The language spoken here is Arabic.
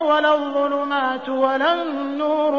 وَلَا الظُّلُمَاتُ وَلَا النُّورُ